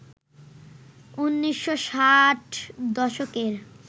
১৯৬০ দশকের